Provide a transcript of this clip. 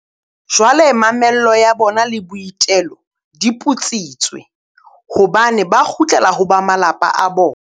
Jwale mamello ya bona le boitelo di putsitswe, hobane ba kgutlela ho ba malapa a bona.